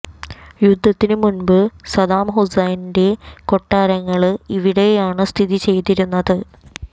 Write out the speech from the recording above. യുദ്ധത്തിനു മുമ്പ് സദ്ദാം ഹുസ്സൈന്റെ കൊട്ടാരങ്ങള് ഇവിടെയാണ് സ്ഥിതി ചെയ്തിരുന്നത്